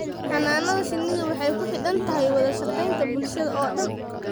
Xannaanada shinnidu waxay ku xidhan tahay wada shaqaynta bulshada oo dhan.